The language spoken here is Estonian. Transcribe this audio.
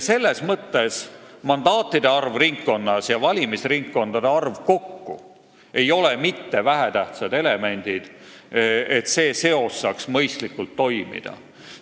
Selles mõttes ei ole mandaatide arv ringkonnas ja valimisringkondade arv mitte vähetähtsad elemendid, selleks et see seos saaks mõistlikult toimida.